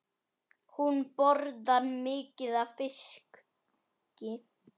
Hún borðar mikið af fiski.